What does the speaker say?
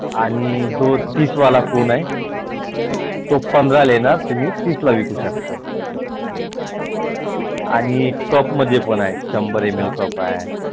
आणि जो तीसवाला कोन आहे तो पंधराला येणार तुम्ही तीसला विकु शकता